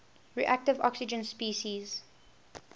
reactive oxygen species